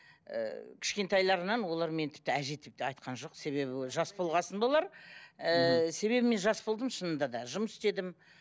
ыыы кішкентайларынан олар мені тіпті әже деп те айтқан жоқ себебі жас болған соң болар ыыы себебі мен жас болдым шынында да жұмыс істедім